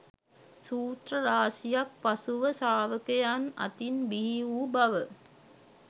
සූත්‍ර රාශියක් පසුව ශ්‍රාවකයින් අතින් බිහි වූ බව